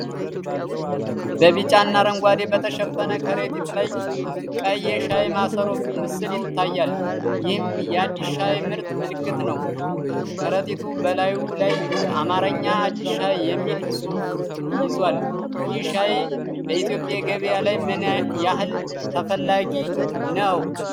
በቢጫና አረንጓዴ በተሸፈነ ከረጢት ላይ ቀይ የሻይ ማሰሮ ምስል ይታያል፤ ይህም የ "አዲስ ሻይ" ምርት ምልክት ነው። ከረጢቱ በላዩ ላይ የአማርኛ "አዲስ ሻይ" የሚል ጽሑፍ ይዟል፡፡ ይህ ሻይ በኢትዮጵያ ገበያ ላይ ምን ያህል ተፈላጊ ነው?